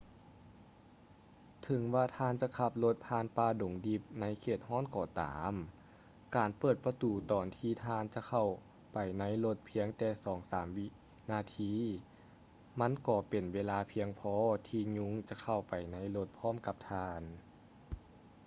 ເຖິງວ່າທ່ານຈະຂັບລົດຜ່ານປ່າດົງດິບໃນເຂດຮ້ອນກໍຕາມ ການເປີດປະຕູຕອນທີ່ທ່ານຈະເຂົ້າໄປໃນລົດພຽງແຕ່ສອງສາມວິນາທີ ມັນກໍເປັນເວລາພຽງພໍທີ່ຍຸງຈະເຂົ້າໄປໃນລົດພ້ອມກັບທ່ານ